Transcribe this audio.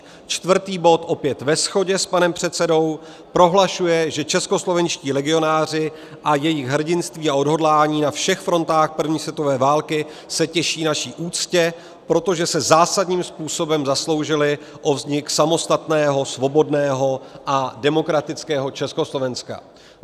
Čtvrtý bod opět ve shodě s panem předsedou: prohlašuje, že českoslovenští legionáři a jejich hrdinství a odhodlání na všech frontách první světové války se těší naší úctě, protože se zásadním způsobem zasloužili o vznik samostatného svobodného a demokratického Československa.